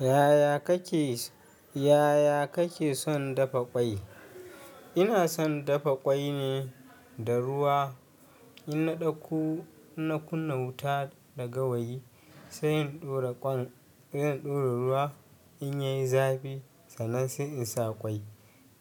Yaya kake, yaya kake son dafa ƙwai? Ina son dafa ƙwai ne da ruwa, in na ɗauko, in na kunna wuta da gawayi, sai in ɗora ƙwan, sai in ɗora ruwa, in yayi zafi sannan sai in sa ƙwai.